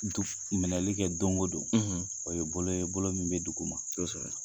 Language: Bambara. minɛli kɛ don o don o ye bolo ye bolo min bɛ duguma.